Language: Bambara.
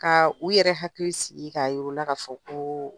Ka u yɛrɛ hakili sigi ka yir'u la k'a fɔ ko